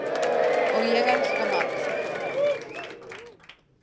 og ég elska mat.